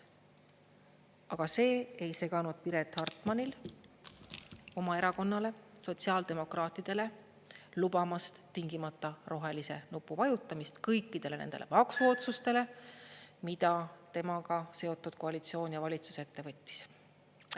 Aga see ei seganud Piret Hartmanil oma erakonnale, sotsiaaldemokraatidele lubamast tingimata rohelise nupu vajutamist kõikidele nendele maksuotsustele, mida temaga seotud koalitsioon ja valitsus ette võttis.